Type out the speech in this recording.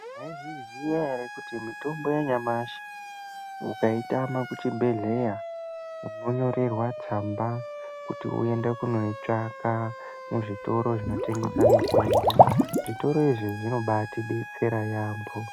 Mwaizviziya ere kuti mitombo yanyamashi mukaitama kuchibhedhela, munonyorerwa tsamba kuti muende kuno itsvaka muzvitoro zvinotengesa mitombo. Zvitoro izvi zvinobaatidetsera yaamho.